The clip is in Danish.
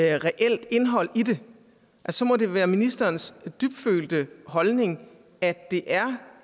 være et reelt indhold i det så må det være ministerens dybfølte holdning at det er